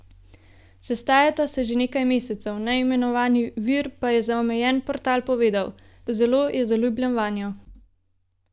Sestajata se že nekaj mesecev, neimenovani vir pa je za omenjen portal povedal: 'Zelo je zaljubljen vanjo.